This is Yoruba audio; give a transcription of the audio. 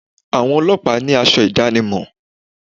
Àwọn ọlọ́pàá ní asọ ìdánimọ̀